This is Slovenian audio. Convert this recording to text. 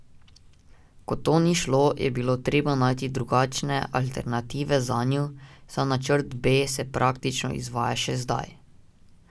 Ko to ni šlo, je bilo treba najti drugačne alternative zanju, ta načrt B se praktično izvaja še zdaj.